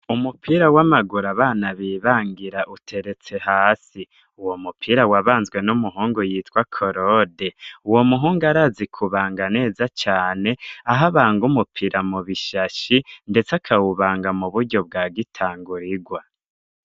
Umupira w'amagura abana bibangira uteretse hasi uwo mupira wabanzwe n'umuhungu yitwa korode uwo muhungu arazi kubanga neza cane aho abanga umupira mu bishashi, ndetse akawubanga mu buryo bwa gitango rigwa.